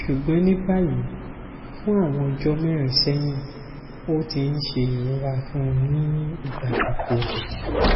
ṣugbọn ni bayi fun awọn ọjọ mẹrin sẹhin o ti n se irora fun ni igba gbogbo